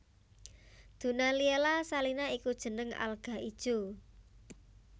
Dunaliella salina iku jeneng alga ijo